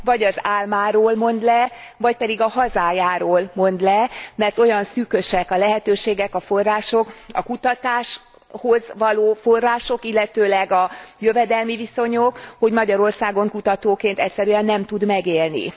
Vagy az álmáról mond le, vagy pedig a hazájáról mond le, mert olyan szűkösek a lehetőségek, a források, a kutatáshoz való források, illetőleg a jövedelmi viszonyok, hogy Magyarországon kutatóként egyszerűen nem tud megélni.